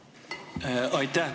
Aitäh!